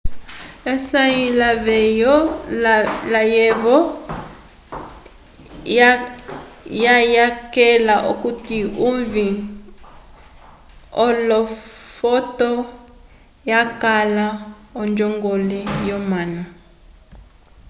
hsieh layevo wayakela okuti uvĩ wolofoto yakala onjongole yomanu